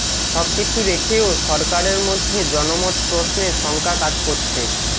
সবকিছু রেখেও সরকারের মধ্যে জনমত প্রশ্নে শঙ্কা কাজ করছে